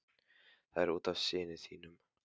Það er út af syni þínum.